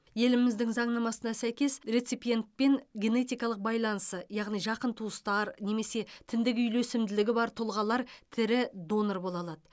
еліміздің заңнамасына сәйкес реципиентпен генетикалық байланысы яғни жақын туыстар немесе тіндік үйлесімділігі бар тұлғалар тірі донор бола алады